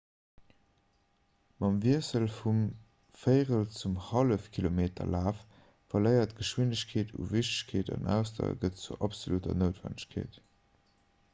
mam wiessel vum véierel zum hallefkilometerlaf verléiert geschwindegkeet u wichtegkeet an ausdauer gëtt zur absolutter noutwennegkeet